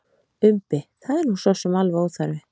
Umbi: Það er nú sosum alveg óþarfi.